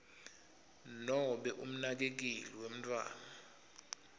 nobe umnakekeli wemntfwana